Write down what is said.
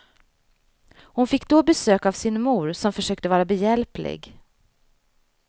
Hon fick då besök av sin mor som försökte vara behjälplig.